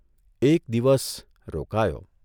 એક દિવસ રોકાયો.